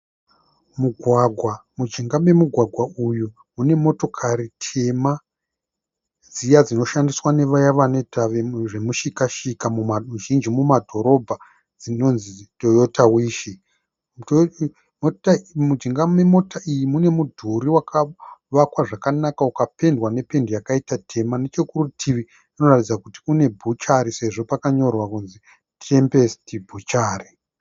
Mugwagwa, mujinga memugwagwa uyu mune motokari tema dziya dzinoshandiswa nevaye vanoita zvemushika shika zhinji mumadhorobha dzinonzi Toyota wish, mujinga memota iyi mune mudhuri wakavakwa zvakanaka ukapendwa nependi yakaita tema nechekurutivi kunoratidza kuti kune bhuchari sezvo pakanyorwa kunzi Tempest Bhuchari.